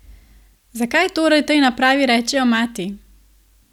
Zakaj torej tej napravi rečejo mati?